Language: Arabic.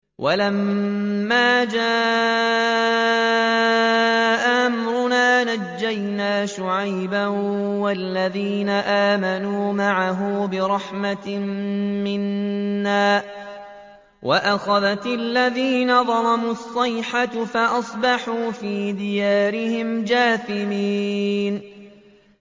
وَلَمَّا جَاءَ أَمْرُنَا نَجَّيْنَا شُعَيْبًا وَالَّذِينَ آمَنُوا مَعَهُ بِرَحْمَةٍ مِّنَّا وَأَخَذَتِ الَّذِينَ ظَلَمُوا الصَّيْحَةُ فَأَصْبَحُوا فِي دِيَارِهِمْ جَاثِمِينَ